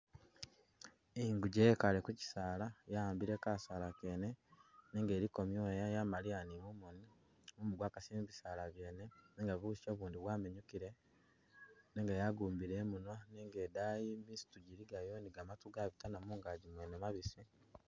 Inguje yekale ku kyisaala, ya'ambile kasaala kene nenga iliko myoya yamaliya ni mumoni, mumu gwakasile mubisaala byene nenga busya ubundi bwamenyekele, nenga yagumbile i munwa nenga idaayi misito giligayo ni gamatu ni gamatu gabitana mungaji mwene mabisi.